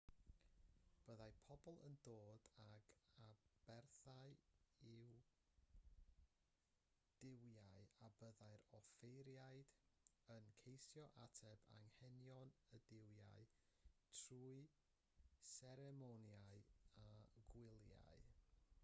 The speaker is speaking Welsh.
byddai pobl yn dod ag aberthau i'r duwiau a byddai'r offeiriaid yn ceisio ateb anghenion y duwiau trwy seremonïau a gwyliau